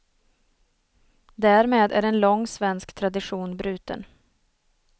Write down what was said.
Därmed är en lång svensk tradition bruten.